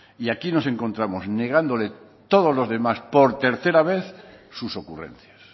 y aquí nos encontramos negándole todos los demás por tercera vez sus ocurrencias